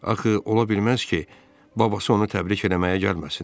Axı, ola bilməz ki, babası onu təbrik eləməyə gəlməsin.